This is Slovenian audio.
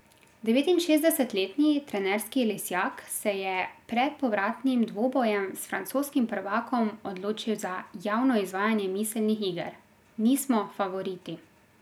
Devetinšestdesetletni trenerski lisjak se je pred povratnim dvobojem s francoskim prvakom odločil za javno izvajanje miselnih iger: 'Nismo favoriti.